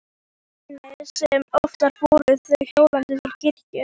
Einu sinni sem oftar fóru þau hjónin til kirkju.